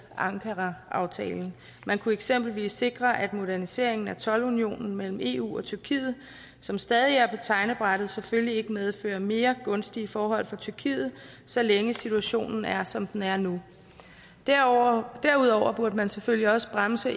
ankaraaftalen man kunne eksempelvis sikre at moderniseringen af toldunionen mellem eu og tyrkiet som stadig er på tegnebrættet selvfølgelig ikke medfører mere gunstige forhold for tyrkiet så længe situationen er som den er nu derudover derudover burde man selvfølgelig også bremse